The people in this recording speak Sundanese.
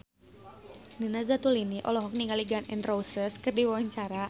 Nina Zatulini olohok ningali Gun N Roses keur diwawancara